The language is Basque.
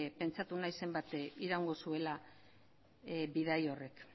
pentsatu nahi zenbat iraungo zuela bidaia horrek